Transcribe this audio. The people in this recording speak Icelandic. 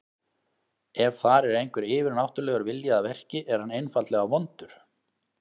Ef þar er einhver yfirnáttúrulegur vilji að verki, er hann einfaldlega vondur.